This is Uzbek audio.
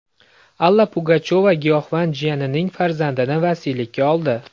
Alla Pugachyova giyohvand jiyanining farzandini vasiylikka oldi.